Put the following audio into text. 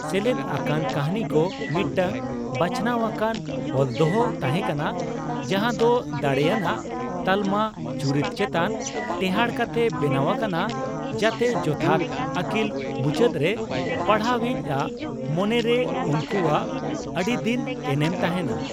ᱥᱮᱞᱮᱫ ᱟᱠᱟᱱ ᱠᱟᱹᱦᱱᱤᱠᱚ ᱢᱤᱫᱴᱟᱝ ᱵᱟᱪᱷᱱᱟᱣ ᱟᱠᱟᱱ ᱚᱞᱫᱚᱦᱚ ᱛᱟᱦᱮᱸ ᱠᱟᱱᱟ, ᱡᱟᱦᱟ ᱫᱚ ᱫᱟᱲᱮᱭᱟᱱᱟᱜ ᱛᱟᱞᱢᱟ ᱪᱚᱨᱤᱛ ᱪᱮᱛᱟᱱ ᱴᱮᱸᱦᱟᱰ ᱠᱟᱛᱮ ᱵᱮᱱᱟᱣ ᱟᱠᱟᱱᱟ, ᱡᱟᱛᱮ ᱡᱚᱛᱷᱟᱛ ᱟᱹᱠᱞᱤᱞ ᱢᱩᱪᱟᱹᱫᱨᱮ ᱯᱟᱲᱦᱟᱣᱤᱡᱽ ᱟᱜ ᱢᱚᱱᱮᱨᱮ ᱩᱱᱠᱩᱣᱟᱜ ᱟᱹᱰᱤᱫᱤᱱ ᱮᱱᱮᱢ ᱛᱟᱦᱮᱱᱟ ᱾